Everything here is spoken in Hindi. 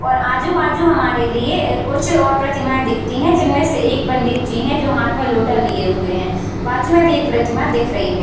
और आजु-बाजू हमारे लिए कुछ औ प्रतिमाएं दिखती है जिनमें से एक पंडित जी है जो हाथ में लोटा लिए हुए है बाजू में भी एक प्रतिमा दिख रही है।